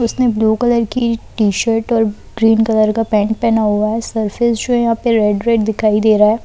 उसने blue colour की t-shirt और ग्रीन कलर का पैंट पहना हुआ है सर्फेस जो है यहां पे रेड रेड दिखाई दे रहा है